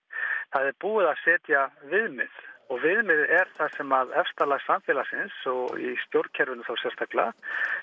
það er búið að setja viðmið og viðmiðið er það sem efsta lag samfélagsins og í stjórnkerfinu sérstaklega